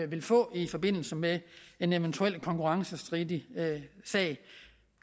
vil få i forbindelse med en eventuel konkurrencestridig sag